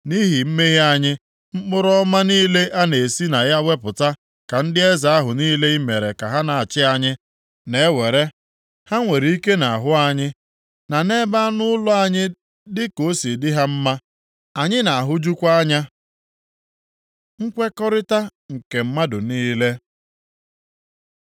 Nʼihi mmehie anyị, mkpụrụ ọma niile a na-esi na ya wepụta ka ndị eze ahụ niile i mere ka ha na-achị anyị na-ewere. Ha nwere ike nʼahụ anyị, na nʼebe anụ ụlọ anyị dị ka o si dị ha mma. Anyị na-ahụjukwa anya. Nkwekọrịta nke mmadụ niile